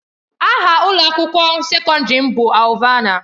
Aha ụlọ akwụkwọ sekọndrị m bụ Alvana.